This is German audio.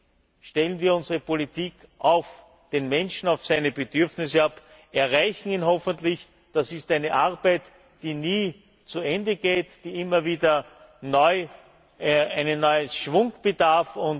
Damit stellen wir unsere Politik auf den Menschen, auf seine Bedürfnisse ab, erreichen ihn hoffentlich. Das ist eine Arbeit, die nie zu Ende geht, die immer wieder eines neuen Schwungs bedarf.